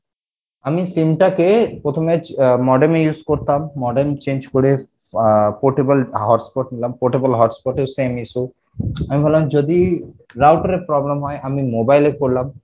আমি sim টাকে প্রথমে আহ modem এ use করতাম modem change করে আহ portable hotspot নিলাম portable hotspot এও same issue আমি ভাবলাম যদি router এ problem হয় আমি mobile এ করলাম